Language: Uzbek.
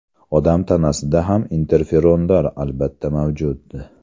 Odam tanasida ham interferonlar albatta mavjud.